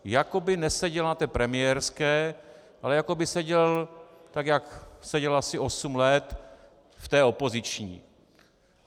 Jako by neseděl na té premiérské, ale jako by seděl tak, jak seděl asi osm let, v té opoziční.